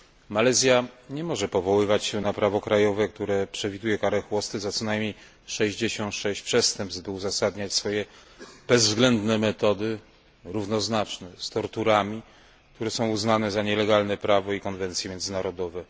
Malezja nie może powoływać się na prawo krajowe, które przewiduje karę chłosty za co najmniej 66 przestępstw, by uzasadniać swoje bezwzględne metody równoznaczne z torturami, które są uznane za nielegalne przez prawo i konwencje międzynarodowe.